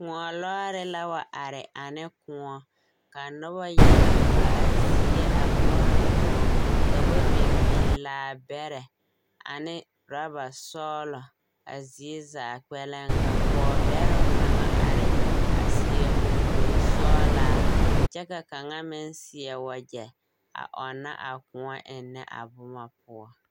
Kõɔ lɔɔre la wa are ane kõɔ. Ka noba yaga pa a zie a boɔrɔ kõɔ. Ka ba biŋ biŋ laabɛrɛ ane rabasɔɔlɔ a zie zaa kpɛlɛŋ ka pɔɔbɛroŋ kaŋa are a seɛ muŋkurisɔɔlaa kyɛ ka kaŋa meŋ seɛ wagyɛ, a ɔnnɔ kõɔ a ennɛ a boma poɔ.